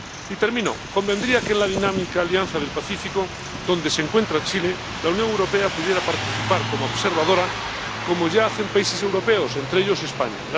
Y termino, convendría que en la dinámica Alianza del Pacífico, donde se encuentra Chile, la Unión Europea pudiera participar como observadora, como ya hacen países europeos, entre ellos España.